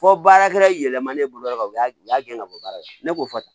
Fɔ baarakɛla yɛlɛma ne bolo dɔrɔn u y'a gɛn ka bɔ baara la ne k'o fɔ tan